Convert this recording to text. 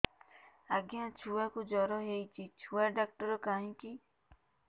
ଆଜ୍ଞା ଛୁଆକୁ ଜର ହେଇଚି ଛୁଆ ଡାକ୍ତର କାହିଁ କି